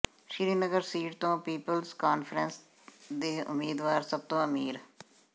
Srinagar seat ਤੋਂ ਪੀਪਲਜ਼ ਕਾਨਫਰੰਸ ਦੇ ਉਮੀਦਵਾਰ ਸਭ ਤੋਂ ਅਮੀਰ